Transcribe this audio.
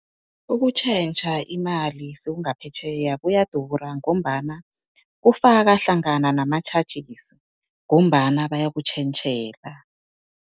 Ukutjhentjha imali sewungaphetjheya kuyadura, ngombana kufaka hlangana nama-charges ngombana bayakutjhentjhela.